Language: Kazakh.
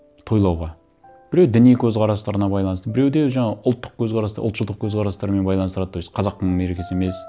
тойлауға біреу діни көзқарастарына байланысты біреуде жаңа ұлттық көзқарас ұлтшылдық көзқарастарымен байланыстырады то есть қазақтың мерекесі емес